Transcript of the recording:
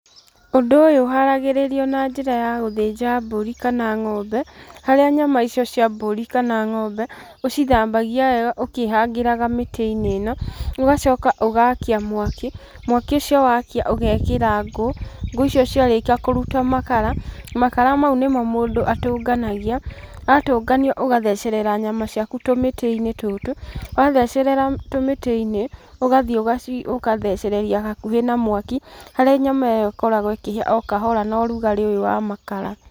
Ũndũ ũyũ ũharagĩrĩrio na njĩra ya gũthĩnja mbĩri kana ng'ombe, harĩa nyama icio cia mbũri kana ng'ombe, ũcithambagia wega ũkĩhangĩraga mĩtĩ-inĩ ĩno, ũgacoka ũgakia mwaki, mwaki ũcio wakia ũgekĩra ngũ, ngũ icio ciarĩkia kũruta makara, makara mau nĩmo mũndũ atũnganagia, watũngania ũgathecerera nyama ciaku tũmĩtĩ-inĩ tũtũ, wathecerera tũmĩtĩ-inĩ, ũgathiĩ ũgathecereria hakuhĩ na mwaki, harĩa nyama ĩyo ĩkoragwo ĩkĩhĩa o kahora na ũrugarĩ ũyũ wa makara.